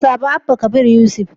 Ku zaɓi Abba Kabir Yusuf